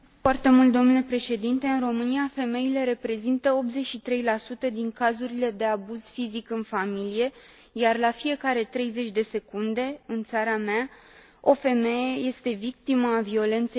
În România, femeile reprezintă 83 din cazurile de abuz fizic în familie, iar la fiecare 30 de secunde, în țara mea, o femeie este victimă a violenței domestice.